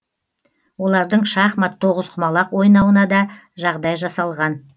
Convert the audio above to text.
олардың шахмат тоғызқұмал ойнауына да жағдай жасалған